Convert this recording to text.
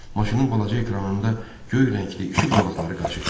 Maşının balaca ekranında göy rəngli işıq zolaqları qaçışdı.